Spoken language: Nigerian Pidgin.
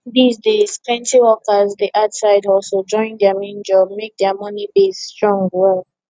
these days plenty workers dey add side hustle join their main job make their money base strong well